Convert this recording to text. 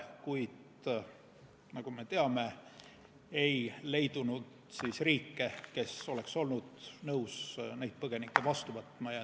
Kuid nagu me teame, ei leidunud riike, kes oleks olnud nõus neid põgenikke vastu võtma.